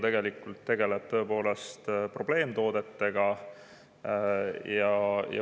See eelnõu tegeleb probleemtoodetega.